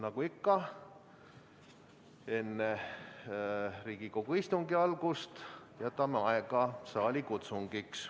Nagu ikka, enne Riigikogu istungi algust jätame aega saalikutsungiks.